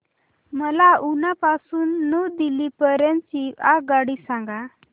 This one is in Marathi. मला उना पासून न्यू दिल्ली पर्यंत ची आगगाडी सांगा